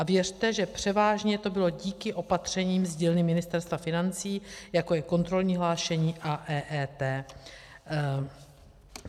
A věřte, že převážně to bylo díky opatřením z dílny Ministerstva financí, jako je kontrolní hlášení a EET.